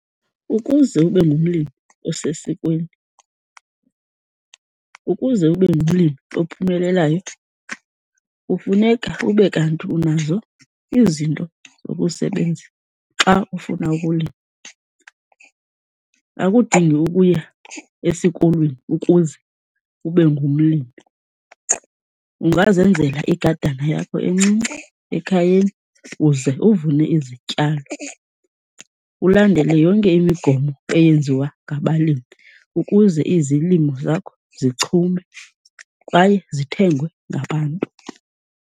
Ukuze ube ngumlimi osesikweni, ukuze ube ngumlimi ophumelelayo kufuneka ube kanti unazo izinto zokusebenza xa ufuna ukulima. Akudingi ukuya esikolweni ukuze ube ngumlimi. Ungazenzela igadana yakho encinci ekhayeni uze uvune izityalo. Ulandele yonke imigomo eyenziwa ngabalimi ukuze izilimo zakho zichume kwaye zithengwe ngabantu.